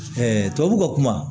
tubabuw ka kuma